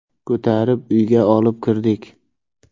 Ko‘tarib uyga olib kirdik.